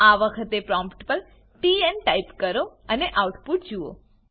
આ વખતે પ્રોમ્ટ પર ટીએન ટાઈપ કરો અને આઉટપુટ જુઓ